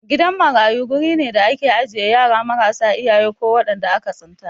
Gidan marayu guri ne da ake ajiye yara marasa iyaye ko waɗanda aka tsinta.